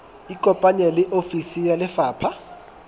ikopanye le ofisi ya lefapha